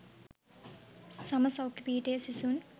සම සෞඛ්‍ය පීඨයේ සිසුන්